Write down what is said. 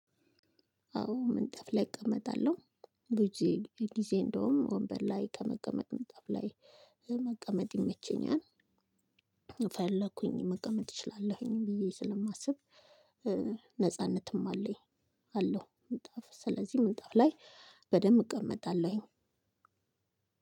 አዎ ምንጣፍ ላይ እቀመጣለሁ ብዙ ጊዜ እንደውም ወንበር ላይ ከመቀመጥ ምንጣፍ ላይ መቀመጥ ይመቸኛል። ፈለኩኝ መቀመጥ እችላለሁኝ ብዬ ስለማስብ ነጻነትም አለኝ አለው ስለዚህ ምንጣፍ ላይ በደንብ እቀመጣለሁኝ